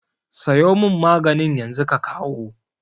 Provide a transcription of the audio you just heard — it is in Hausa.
Sayo mun maganin yanzu ka kawo